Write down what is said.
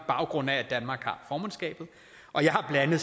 baggrund af at danmark har